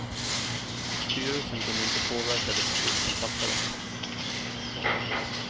Styrelsen kunde inte påverka de beslut som fattades.